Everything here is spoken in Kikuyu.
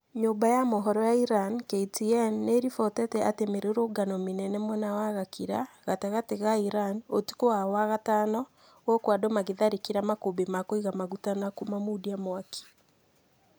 Nyũmba ya mohoro ya Iran, KTN ,nĩĩribotete atĩ mĩrũrũngano mĩnene mwena wa Gakira ,gatagatĩ ga Iran, ũtukũ wa wagatano gũkũ andũ magĩtharĩkĩra makũmbĩ ma kũiga maguta na kumamaundia mwaki